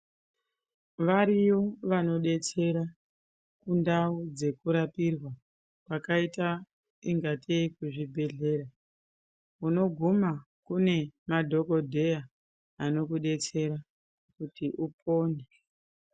Variyo vanodetsera kundawu dzekurapirwa dzakaita ingate kuzvibhedhlera. Munoguma kune madhokodheya anokudetsera kuti upone.